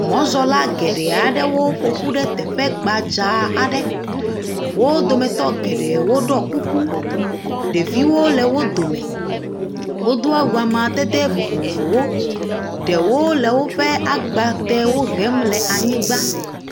Mɔzɔla geɖe aɖewo ƒoƒu ɖe teƒe gbadza aɖe. wo dometɔ geɖewo ɖɔe kuku, ɖeviwo le wodome. Wodo awu amadede vovovowo. Ɖewo le woƒe agbatewo hem le anyigba.